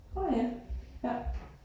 Nåh ja. Ja